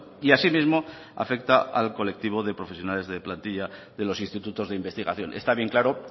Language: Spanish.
y asimismo afecta al colectivo de profesionales de plantilla de los institutos de investigación está bien claro